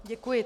Děkuji.